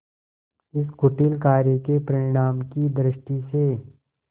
इस कुटिल कार्य के परिणाम की दृष्टि से